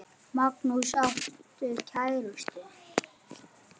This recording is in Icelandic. Magnús: Áttu kærustu?